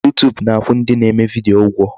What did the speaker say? YouTube na-akwụ ndị na-eme video ụgwọ.